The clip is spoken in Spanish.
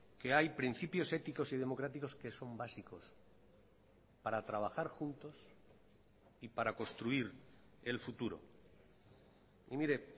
que hay principios éticos y democráticos que son básicos para trabajar juntos y para construir el futuro y mire